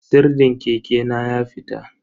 Sirdin keke na ya fita.